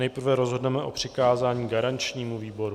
Nejprve rozhodneme o přikázání garančnímu výboru.